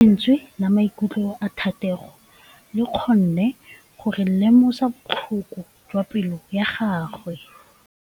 Lentswe la maikutlo a Thategô le kgonne gore re lemosa botlhoko jwa pelô ya gagwe.